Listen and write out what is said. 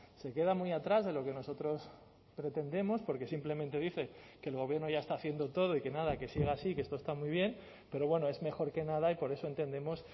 se queda muy atrás de lo que nosotros pretendemos porque simplemente dice que el gobierno ya está haciendo todo y que nada que siga así que esto está muy bien pero bueno es mejor que nada y por eso entendemos